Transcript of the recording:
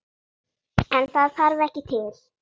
En það þarf ekki til.